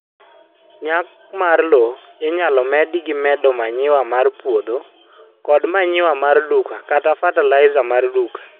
nyak mar lowo inyalo med gi medo r manure mar puodho kod manure mar duka kata fertilizer mar duka.